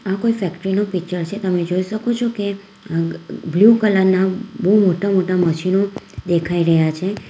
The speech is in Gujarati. કોઈ ફેક્ટરી નો પીચર છે તમે જોઈ શકો છો કે અહ બ્લુ કલર ના બહુ મોટા મોટા મશીનો દેખાઈ રહ્યા છે.